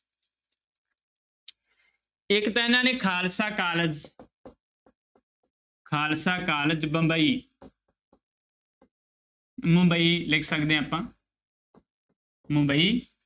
ਇੱਕ ਤਾਂ ਇਹਨਾਂ ਨੇ ਖਾਲਸਾ college ਖਾਲਸਾ college ਬੰਬਈ ਮੁੰਬਈ ਲਿਖ ਸਕਦੇ ਹਾਂ ਆਪਾਂ ਮੁੰਬਈ